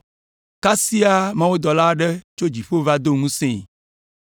Kasia mawudɔla aɖe tso dziƒo va do ŋusẽe,